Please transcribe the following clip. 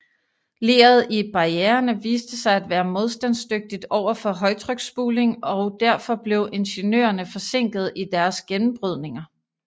Leret i barriererne viste sig at være modstandsdygtigt overfor højtryksspuling og derfor blev ingeniørerne forsinket i deres gennembrydninger